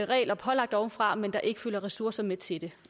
regler pålagt ovenfra men der ikke følger ressourcer med til det